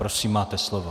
Prosím, máte slovo.